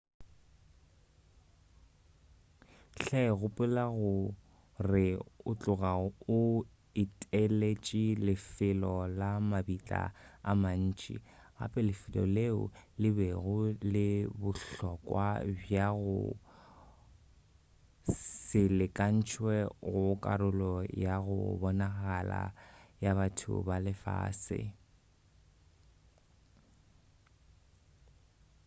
hle gopola gore o tloga o eteletše lefelo la mabitla a mantši gape lefelo leo le bego le bohlokwa bja go se lekantšwe go karolo ya go bonagala ya batho ba lefase